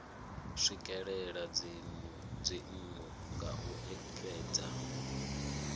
swikelela dzinnu nga u ekedza